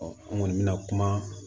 an kɔni mi na kuma